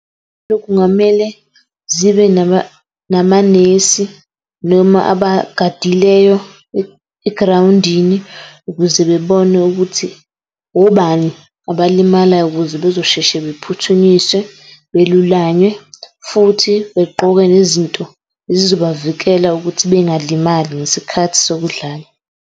Kungamele zibe namanesi noma abagadileyo e-ground-ini ukuze bebone ukuthi obani abalimalayo ukuze bezosheshe bephuthunyiswe belulanywe futhi begqoke nezinto ezizobavikela ukuthi bengalimali ngesikhathi sokudlala.